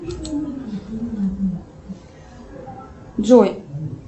джой